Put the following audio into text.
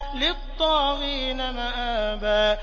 لِّلطَّاغِينَ مَآبًا